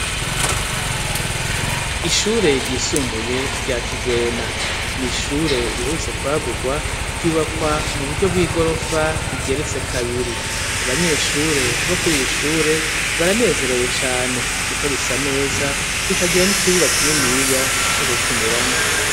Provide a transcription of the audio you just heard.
Ishure ryisumbuye rya Kigwena, n'ishure riherutse kwagurwa, ryubakwa mu buryo bw'igorofa rigeretse kabiri, abanyeshure bo kuri iri shure baranezerewe cane kuko risa neza, rikagira n'ikibuga kininiya co gukiniramwo.